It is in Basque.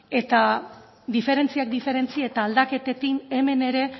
eta diferentziak diferentzia eta aldaketekin hemen ere